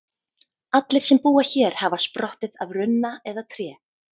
Allir sem búa hér hafa sprottið af runna eða tré.